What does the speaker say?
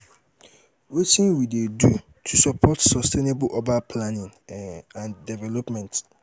um wetin we um dey do to support sustainable urban planning um and development?